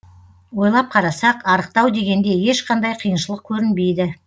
ойлап қарасақ арықтау дегенде ешқандай қиыншылық көрінбейді